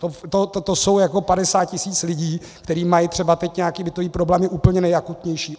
To je jako 50 tisíc lidí, kteří mají třeba teď nějaké bytové problémy úplně nejakutnější.